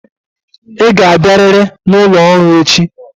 Ị ga-abịarịrị n'ụlọ ọrụ echi.